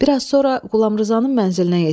Bir az sonra Qulamrizanın mənzilinə yetişdi.